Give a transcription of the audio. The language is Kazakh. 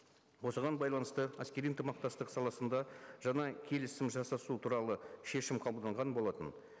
осыған байланысты әскери ынтымақтастық саласында жаңа келісім жасасу туралы шешім қабылданған болатын